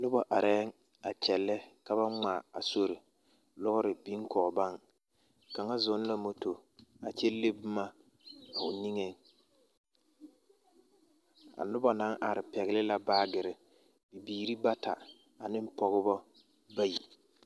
Noba arɛɛŋ a kyɛllɛ ka ba ŋmaa a sori. lɔɔre biŋ kɔge baŋ kaŋa zɔŋ la moto kyɛ le boma o niŋeŋ. A noba naŋ are pɛgele la baagere bibiiri bata a ne pɔgeba bayi.